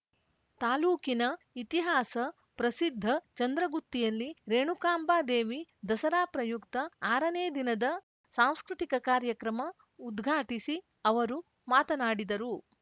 ತಾಲೂಕಿನ ಇತಿಹಾಸ ಪ್ರಸಿದ್ಧ ಚಂದ್ರಗುತ್ತಿಯಲ್ಲಿ ರೇಣುಕಾಂಬಾದೇವಿ ದಸರಾ ಪ್ರಯುಕ್ತ ಆರನೇ ದಿನದ ಸಾಂಸ್ಕೃತಿಕ ಕಾರ್ಯಕ್ರಮ ಉದ್ಘಾಟಿಸಿ ಅವರು ಮಾತನಾಡಿದರು